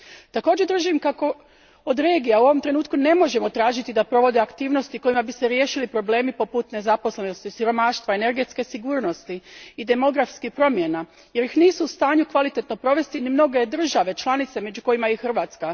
Također držim kako od regija u ovom trenutku ne možemo tražiti da provode aktivnosti kojima bi se riješili problemi poput nezaposlenosti, siromaštva, energetske sigurnosti i demografskih promjena, jer ih nisu u stanju kvalitetno provesti ni mnoge države članice među kojima je i Hrvatska.